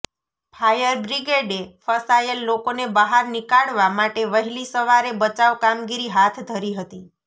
fire બ્રિગેડે ફસાયેલ લોકોને બહાર નિકાળવા માટે વહેલી સવારે બચાવ કામગીરી હાથ ધરી હતી